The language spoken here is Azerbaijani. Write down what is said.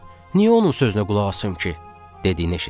Niyə onun sözünə qulaq asım ki?" dediyini eşitdim.